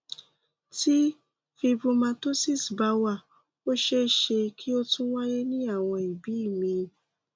tí fibromatosis bá wà ó ṣeé ṣe kí ó tún wáyé ní àwọn ibi míì